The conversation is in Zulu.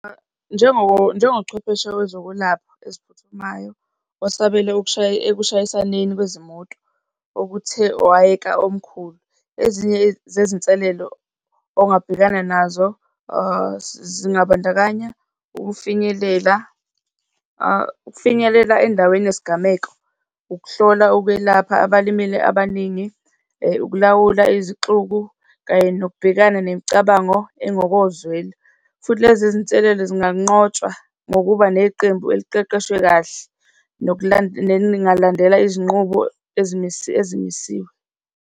Njengochwepheshe wezokwelapha eziphuthumayo, osabela ekushayisaneni kwezimoto okuthe wayeka omkhulu. Ezinye zezinselelo ongabhekana nazo zingabandakanya ukufinyelela, ukufinyelela endaweni yesigameko, ukuhlola ukwelapha abalimele abaningi, ukulawula izixuku kanye nokubhekana nemicabango engokozwelo. Futhi lezi zinselelo zinganqotshwa ngokuba neqembu eliqeqeshwe kahle nelingalandela izinqubo ezimisiwe.